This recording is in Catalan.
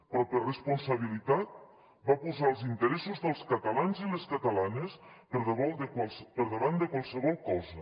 però per responsabilitat va posar els interessos dels catalans i les catalanes per davant de qualsevol cosa